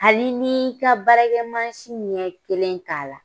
Hali n'i y'i ka baarakɛmansi ɲɛ kelen k'a la.